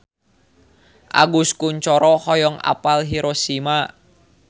Agus Kuncoro hoyong apal Hiroshima